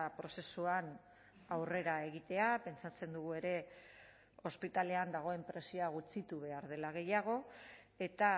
prozesuan aurrera egitea pentsatzen dugu ere ospitalean dagoen presioa gutxitu behar dela gehiago eta